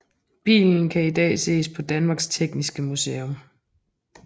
Bilen kan i dag ses på Danmarks Tekniske Museum